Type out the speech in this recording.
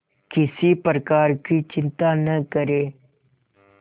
किसी प्रकार की चिंता न करें